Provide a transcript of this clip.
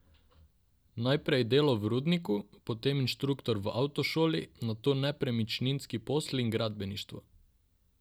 Najprej delo v rudniku, potem inštruktor v avtošoli, nato nepremičninski posli in gradbeništvo.